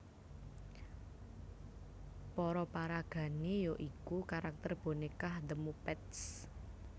Para paragané ya iku karakter bonékah The Muppets